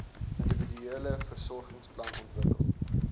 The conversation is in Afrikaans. individuele versorgingsplan ontwikkel